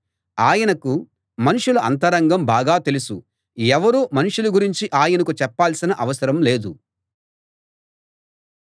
ఆయనకు మనుషుల అంతరంగం బాగా తెలుసు ఎవరూ మనుషుల గురించి ఆయనకు చెప్పాల్సిన అవసరం లేదు